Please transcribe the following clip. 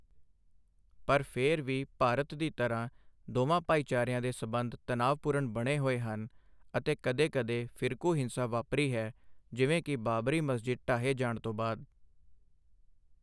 ਪਰ ਫਿਰ ਵੀ, ਭਾਰਤ ਦੀ ਤਰ੍ਹਾਂ, ਦੋਵਾਂ ਭਾਈਚਾਰਿਆਂ ਦੇ ਸਬੰਧ ਤਣਾਅਪੂਰਨ ਬਣੇ ਹੋਏ ਹਨ ਅਤੇ ਕਦੇ ਕਦੇ ਫਿਰਕੂ ਹਿੰਸਾ ਵਾਪਰੀ ਹੈ, ਜਿਵੇਂ ਕਿ ਬਾਬਰੀ ਮਸਜਿਦ ਢਾਹੇ ਜਾਣ ਤੋਂ ਬਾਅਦ।